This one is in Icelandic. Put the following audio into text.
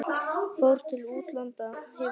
Fór til útlanda, hefur alið manninn þar síðan.